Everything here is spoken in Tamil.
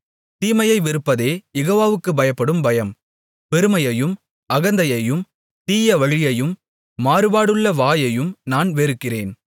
தீமையை வெறுப்பதே யெகோவாவுக்குப் பயப்படும் பயம் பெருமையையும் அகந்தையையும் தீய வழியையும் மாறுபாடுள்ள வாயையும் நான் வெறுக்கிறேன்